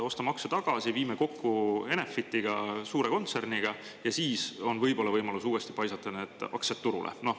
Ostame aktsia tagasi, viime kokku Enefitiga, suure kontserniga, ja siis on võib-olla võimalus uuesti paisata need aktsiad turule.